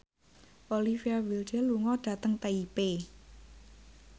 Olivia Wilde lunga dhateng Taipei